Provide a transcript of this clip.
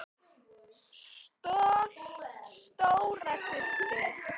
Stolt stóra systir.